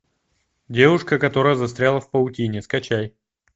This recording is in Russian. девушка которая застряла в паутине скачай